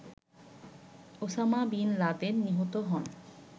Osama bin Laden নিহত হন